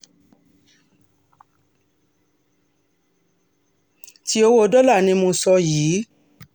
ti owó dọ́là ni mo sọ um yìí